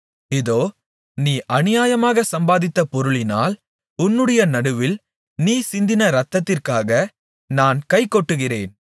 இதோ நீ அநியாயமாகச் சம்பாதித்த பொருளினால் உன்னுடைய நடுவில் நீ சிந்தின இரத்தத்திற்காக நான் கைகொட்டுகிறேன்